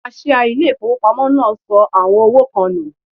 Kaṣíá ilé ìfowópamọ́ náà sọ àwọn owó kan nù.